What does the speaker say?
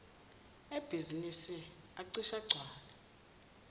ebhizinisi acishe agcwale